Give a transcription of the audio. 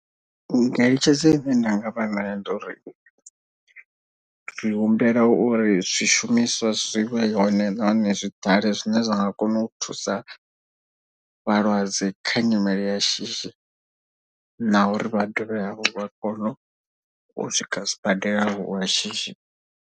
Ngeletshedzo ine nda nga vha nayo ndi uri ri humbela uri zwishumiswa zwi vhe hone nahone zwi ḓale zwine zwa nga kona u thusa vhalwadze. Kha nyimele ya shishi na uri vha dovhe hafhu vha kone u swika sibadela lwa shishi.